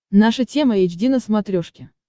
наша тема эйч ди на смотрешке